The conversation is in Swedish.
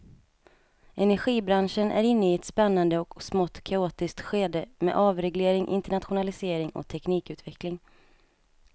Energibranschen är inne i ett spännande och smått kaotiskt skede med avreglering, internationalisering och teknikutveckling.